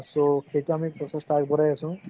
so সেইটো আমি প্ৰচেষ্টা আগবঢ়াই আছো